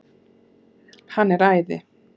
Hann er æði!